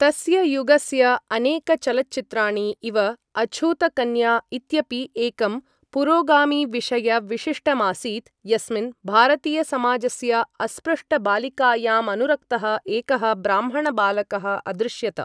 तस्य युगस्य अनेकचलच्चित्राणि इव अछूतकन्या इत्यपि एकं पुरोगामिविषयविशिष्टमासीत् यस्मिन् भारतीयसमाजस्य अस्पृष्टबालिकायामनुरक्तः एकः ब्राह्मणबालकः अदृश्यत।